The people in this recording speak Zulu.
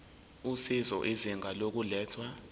usizo izinga lokulethwa